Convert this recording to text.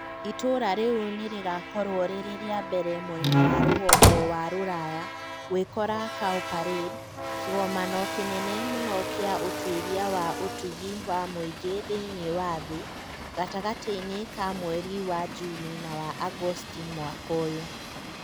Itũũra rĩu nĩrĩgakorũo rĩrĩ rĩa mbere mwena wa rũgongo wa Rũraya gwĩkora CowParade, kĩgomano kĩnene mũno kĩa ũtuĩria wa ũtugi wa mũingĩ thĩinĩ wa thĩ, gatagatĩ-inĩ ka mweri wa Juni na wa Agosti mwaka ũyũ.